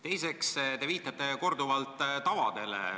Teiseks, te viitasite korduvalt tavadele.